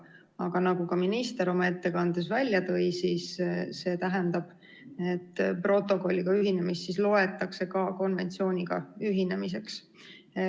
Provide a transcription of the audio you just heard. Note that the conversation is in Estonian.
Aga nagu minister oma ettekandes välja tõi, see tähendab, et protokolliga ühinemist loetakse ka konventsiooniga ühinemiseks.